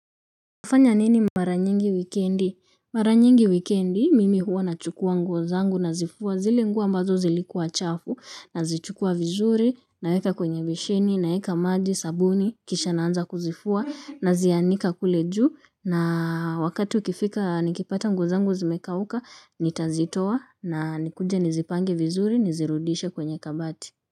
Nafanya nini mara nyingi wikendi mara nyingi wikendi mimi huwa nachukua nguo zangu nazifua zile nguo ambazo zilikuwa chafu nazichukua vizuri naeka kwenye besheni naeka maji sabuni kisha naanza kuzifua nazianika kule juu na wakati ukifika nikipata nguo zangu zimekauka nitazitoa na nikuje nizipange vizuri nizirudishe kwenye kabati.